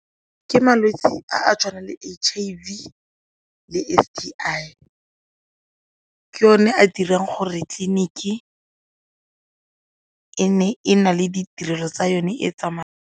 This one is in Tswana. Ke malwetse a a tshwanang le H_I_V le S_T_I ke one a dirang gore tleliniki e nne e na le ditirelo tsa yone e tsamayang.